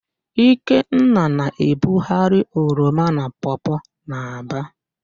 Ikenna na-ebugharị oroma na pọọpọọ n'Aba.